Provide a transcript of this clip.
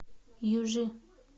южи